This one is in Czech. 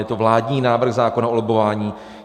Je to vládní návrh zákona o lobbování.